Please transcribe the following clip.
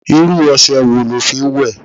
Irú ose wo lo fi ń wẹ?